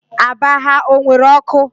Aba ha o nwere ọkụ?